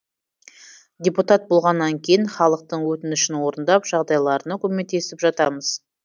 депутат болғаннан кейін халықтың өтінішін орындап жағдайларына көмектесіп жатамыз